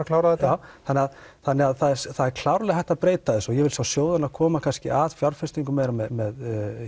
klára þetta já þannig að þannig að það er klárlega hægt að breyta þessu og ég vil sjá sjóðina koma kannski að fjárfestingum með